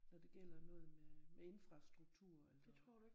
Når det gælder noget med infrastruktur eller